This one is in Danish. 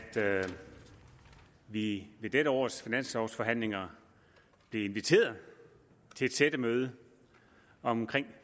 vi ved dette års finanslovforhandlinger blev inviteret til et sættemøde omkring